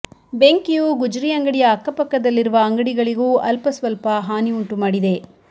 ಬೆಂಕಿಯು ಗುಜರಿ ಅಂಗಡಿಯ ಅಕ್ಕಪಕ್ಕದಲ್ಲಿರುವ ಅಂಗಡಿಗಳಿಗೂ ಅಲ್ಪಸ್ವಲ್ಪ ಹಾನಿ ಉಂಟು ಮಾಡಿದೆ